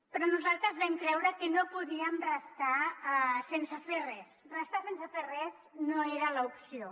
però nosaltres vam creure que no podíem restar sense fer res restar sense fer res no era l’opció